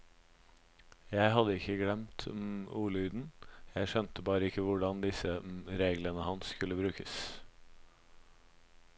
Jeg hadde ikke glemt ordlyden, jeg skjønte bare ikke hvordan disse reglene hans skulle brukes.